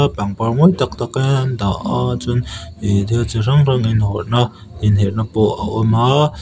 pangpar mawi tak tak te andah a chuan ihh thil chi hrang hrang inherhna pawh a awm a--